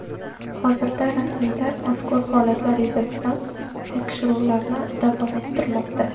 Hozirda rasmiylar mazkur holatlar yuzasidan tekshiruvlarni davom ettirmoqda.